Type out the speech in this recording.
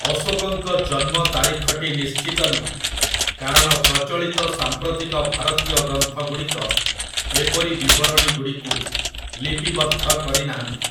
ଅଶୋକଙ୍କ ଜନ୍ମ ତାରିଖଟି ନିଶ୍ଚିତ ନୁହେଁ, କାରଣ ପ୍ରଚଳିତ ସାମ୍ପ୍ରତିକ ଭାରତୀୟ ଗ୍ରନ୍ଥଗୁଡ଼ିକ ଏପରି ବିବରଣୀଗୁଡ଼ିକୁ ଲିପିବଦ୍ଧ କରିନାହାନ୍ତି ।